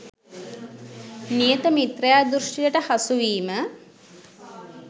නියත මිථ්‍යා දෘෂ්ටියට හසුවීම